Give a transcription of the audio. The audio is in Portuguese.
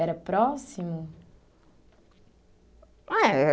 Era próximo? Ah é